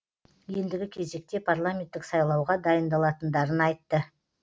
ендігі кезекте парламенттік сайлауға дайындалатындарын айтты